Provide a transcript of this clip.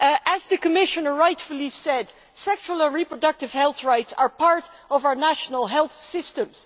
As the Commissioner rightly said, sexual and reproductive health rights are part of our national health systems.